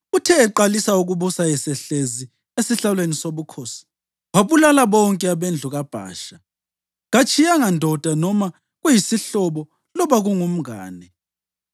Uthe eqalisa ukubusa esehlezi esihlalweni sobukhosi, wabulala bonke abendlu kaBhasha. Katshiyanga ndoda noma kuyisihlobo loba kungumngane.